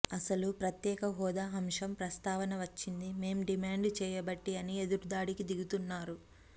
అసలు ప్రత్యేక హోదా అంశం ప్రస్తావన వచ్చిందే మేం డిమాండ్ చేయబట్టి అని ఎదురుదాడికి దిగుతున్నారు